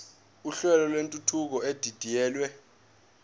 uhlelo lwentuthuko edidiyelwe